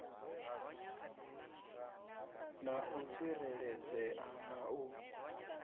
na u tsireledzea na u